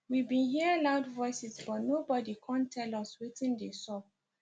we bin hear loud voices but nobody kom tell us wetin dey sup